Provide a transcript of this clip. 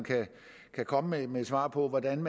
kan komme med et svar på hvordan